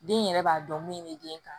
Den yɛrɛ b'a dɔn min be den kan